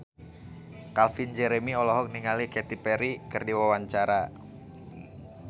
Calvin Jeremy olohok ningali Katy Perry keur diwawancara